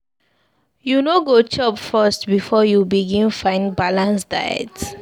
You no go chop first before you begin find balanced diet?